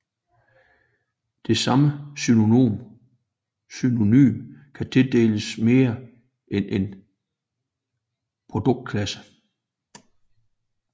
Det samme synonym kan tildeles mere end en produktklasse